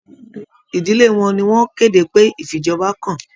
Ìdílé wọn ní wọn kéde pé ifíjọba kàn.